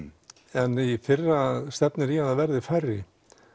en í fyrra stefnir í að það verði færri